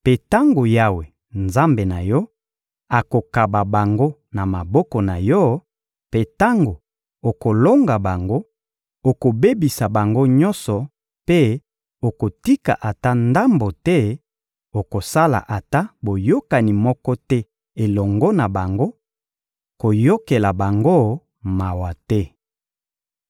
mpe tango Yawe, Nzambe na yo, akokaba bango na maboko na yo, mpe tango okolonga bango, okobebisa bango nyonso mpe okotika ata ndambo te; okosala ata boyokani moko te elongo na bango; koyokela bango mawa te.